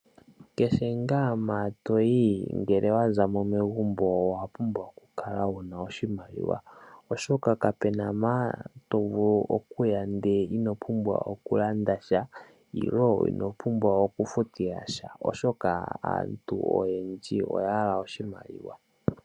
Kehe ngaa mpa toyi to zimo megumbo owa pumbwa oku kala wuna oshimaliwa. Oshoka kapena mpa to vulu okuya ndele ino pumbwa oku landa sha nenge ino pumbwa oku futila sha. Oshoka aantu oyendji oya hala oshimaliwa.